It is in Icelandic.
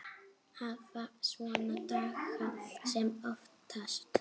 Hafa svona daga sem oftast.